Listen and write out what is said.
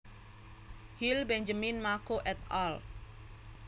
Hill Benjamin Mako et al